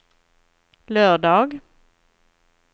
lördag